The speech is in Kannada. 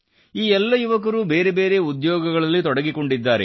ಈ ಎಲ್ಲ ಯುವಕರೂ ಬೇರೆ ಬೇರೆ ಉದ್ಯೋಗಗಳಲ್ಲಿ ತೊಡಗಿಕೊಂಡಿದ್ದಾರೆ